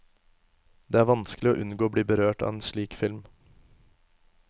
Det er vanskelig å unngå å bli berørt av en slik film.